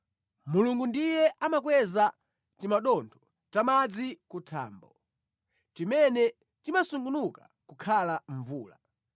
“Mulungu ndiye amakweza timadontho tamadzi kuthambo, timene timasungunuka nʼkukhala mvula;